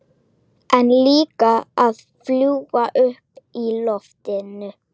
En líka að fljúga uppi í loftinu.